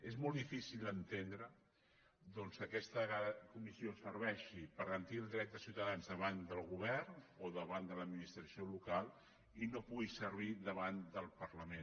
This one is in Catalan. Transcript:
és molt difícil d’entendre doncs que aquesta comissió serveixi per garantir el dret de ciutadans davant del govern o davant de l’administració local i no pugui servir davant del parlament